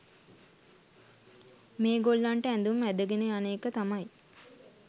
මේගොල්ලන්ට ඇදුම් ඇදගෙන යන එක තමයි